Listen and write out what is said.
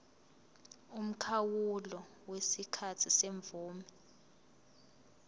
umkhawulo wesikhathi semvume